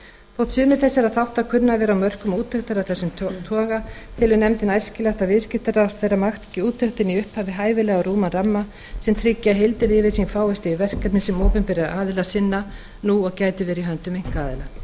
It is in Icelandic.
þótt sumir þessara þátta kunni að vera á mörkum úttektar af þessum toga telur nefndin æskilegt að viðskiptaráðherra marki úttektinni í upphafi hæfilega rúman ramma sem tryggi að heildaryfirsýn fáist yfir verkefni sem opinberir aðilar sinna nú og gætu verið í höndum einkaaðila